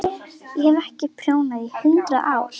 Ég hef ekki prjónað í hundrað ár.